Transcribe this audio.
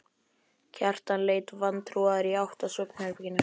Kjartan leit vantrúaður í átt að svefnherberginu.